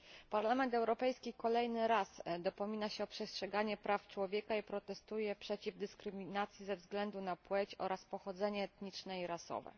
Parlament Europejski kolejny raz dopomina się o przestrzeganie praw człowieka i protestuje przeciwko dyskryminacji ze względu na płeć oraz pochodzenie etniczne i rasowe.